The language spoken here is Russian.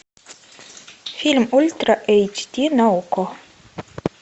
фильм ультра эйч ди на окко